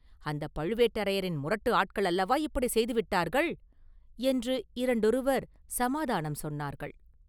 அந்தப் பழுவேட்டரையரின் முரட்டு ஆட்கள் அல்லவா இப்படி செய்துவிட்டார்கள்?” என்று இரண்டொருவர் சமாதானம் சொன்னார்கள்.